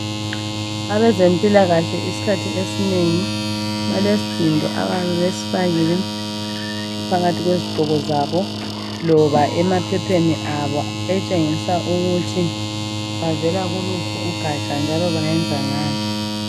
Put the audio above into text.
Abezempilakahle isikhathi esinengi, balesidindo abayabe besifakile phakathi kwezigqoko zabo loba emaphepheni abo okutshengisa ukuthi bavela kuluphi ugatsha njalo bayenza ngani.